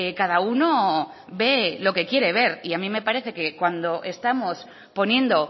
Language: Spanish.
cada uno ve lo que quiere ver y a mí me parece que cuando estamos poniendo